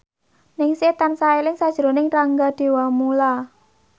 Ningsih tansah eling sakjroning Rangga Dewamoela